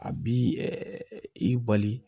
A bi i bali